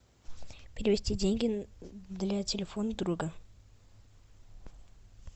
перевести деньги для телефона друга